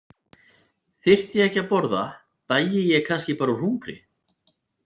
Þyrfti ég ekki að borða, dæi ég kannski bara úr hungri?